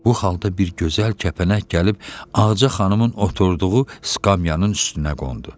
Bu halda bir gözəl kəpənək gəlib Ağaca xanımın oturduğu skamyannın üstünə qondu.